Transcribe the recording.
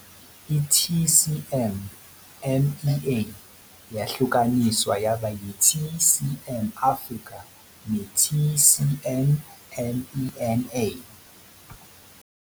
Ngo-1 Januwari 2016, i-TCM MEA yahlukaniswa yaba yi-TCM Africa ne-TCM MENA.